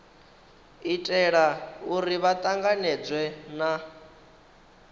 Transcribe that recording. itela uri vha tanganedzwe na